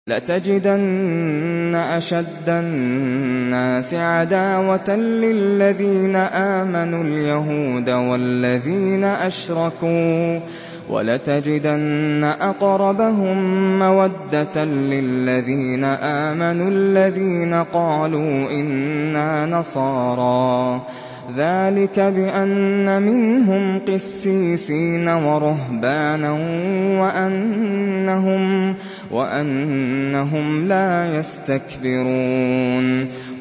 ۞ لَتَجِدَنَّ أَشَدَّ النَّاسِ عَدَاوَةً لِّلَّذِينَ آمَنُوا الْيَهُودَ وَالَّذِينَ أَشْرَكُوا ۖ وَلَتَجِدَنَّ أَقْرَبَهُم مَّوَدَّةً لِّلَّذِينَ آمَنُوا الَّذِينَ قَالُوا إِنَّا نَصَارَىٰ ۚ ذَٰلِكَ بِأَنَّ مِنْهُمْ قِسِّيسِينَ وَرُهْبَانًا وَأَنَّهُمْ لَا يَسْتَكْبِرُونَ